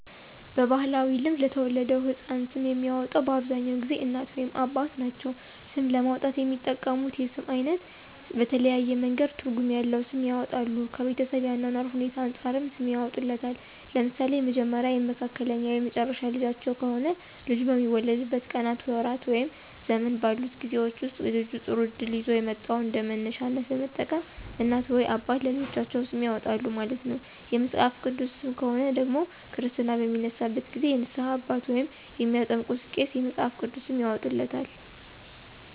በባህላዊ ልማድ ለተወለደው ህፃን ስም የሚያወጣው በአብዛኛውን ጊዜ እናት ወይም አባት ናቸው። ስም ለማውጣት የሚጠቀሙት የስም አይነት በተለያየ መንገድ ትርጉም ያለዉ ስም ያወጣሉ። ከቤተሰብ የአኗኗር ሁኔታዎች አንፃርም ሰም ያወጡለታል። ለምሳሌ የመጀመሪያ፣ የመካከለኛ ወይም የመጨረሻ ልጃቸው ከሆነ ልጁ በሚወለድበት ቀናት፣ ወራት ወይም ዘመን ባሉት ጊዜወች ወስጥ ልጁ ጥሩ እድል ይዞ የመጣውን እንደመነሻነት በመጠቀም እናት ወይም አባት ለልጃቸው ስም ያወጣሉ ማለት ነው። የመጽሐፍ ቅዱስ ሰም ከሆነ ደግሞ ክርስትና በሚነሳበት ጊዜ የንስሃ አባት ወይም የሚያጠምቀው ቄስ የመፅሐፍ ቅዱስ ስም ያወጣለታል።